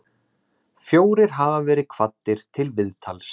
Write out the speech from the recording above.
Fjórir hafa verið kvaddir til viðtals